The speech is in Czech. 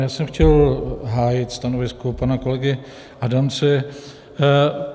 Já jsem chtěl hájit stanovisko pana kolegy Adamce.